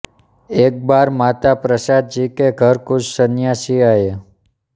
एक बार माता प्रसाद जी के घर कुछ संन्यासी आए